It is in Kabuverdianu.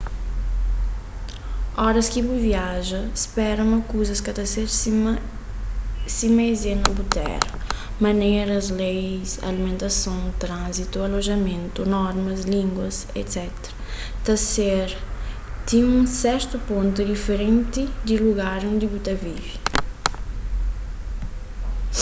oras ki bu viaja spera ma kuzas ka ta ser sima es é na bu tera maneras leis alimentason tránzitu alojamentu normas língua etc ta ser ti un sertu pontu diferenti di lugar undi bu ta vive